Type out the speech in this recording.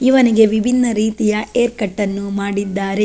ಇವನಿಗೆ ವಿಭಿನ್ನ ರೀತಿಯ ಹೇರ್ ಕಟ್ ನ್ನು ಮಾಡಿದ್ದಾರೆ.